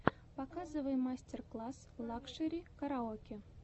показывай мастер класс лакшери караоке